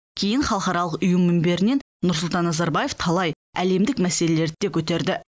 кейін халықаралық ұйым мінберінен нұрсұлтан назарбаев талай әлемдік мәселелерді де көтерді